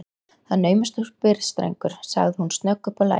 Það er naumast þú spyrð, drengur sagði hún snögg uppá lagið.